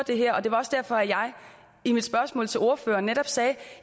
det her det var også derfor at jeg i mit spørgsmål til ordføreren netop sagde at